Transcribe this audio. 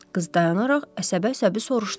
Qız dayanaraq əsəbə-əsəbi soruşdu.